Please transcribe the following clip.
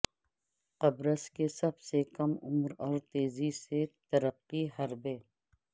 قبرص کے سب سے کم عمر اور تیزی سے ترقی حربے